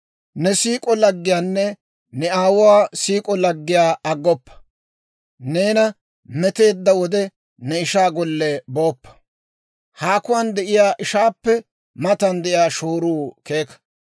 Ne siik'o laggiyaanne ne aawuwaa siik'o laggiyaa aggoppa; neena meteedda wode ne ishaa golle booppa. Haakuwaan de'iyaa ishaappe matan de'iyaa shooruu keeka.